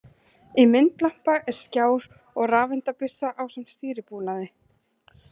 Í myndlampa er skjár og rafeindabyssa ásamt stýribúnaði.